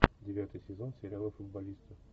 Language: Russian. девятый сезон сериала футболисты